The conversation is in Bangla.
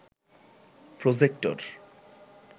প্রজেক্টর